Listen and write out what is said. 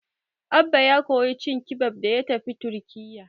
Abba ya koyi cin kibab da ya tafi Turkiyya.